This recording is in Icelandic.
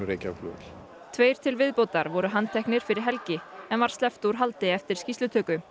Reykjavíkurflugvöll tveir til viðbótar voru handteknir fyrir helgi en var sleppt úr haldi eftir skýrslutöku